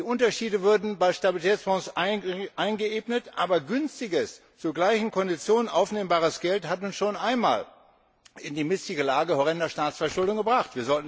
Die Unterschiede würden bei Stabilitätsbonds eingeebnet, aber günstiges, zu gleichen Konditionen aufnehmbares Geld hat uns schon einmal in die missliche Lage horrender Staatsverschuldung gebracht.